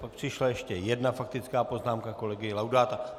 Pak přišla ještě jedna faktická poznámka kolegy Laudáta.